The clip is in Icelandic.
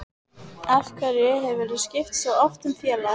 Af hverju hefurðu skipt svo oft um félag?